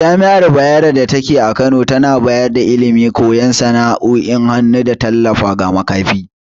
Jami’ar Bayero datake a Kano tana bayar da ilimi, koyan sana’o’in hannu, da tallafa ga makafi.